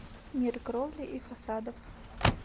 мир кровли и фасадов